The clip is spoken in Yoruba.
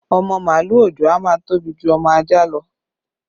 Ọmọ màálù òòjọ́ a máa tóbi ju ọmọ ajá lọ